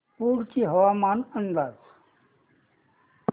कुडची हवामान अंदाज